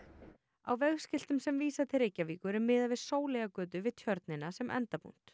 á vegskiltum sem vísa til Reykjavíkur er miðað við Sóleyjargötu við Tjörnina sem endapunkt